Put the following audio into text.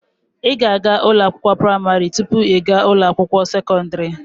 Ị ga-aga ụlọ akwụkwọ praimarị tụpụ ị gaa ụlọ akwụkwọ sekọndrị